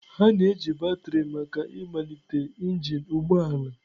a na-eji batrị maka ịmalite engine ụgbọ ala.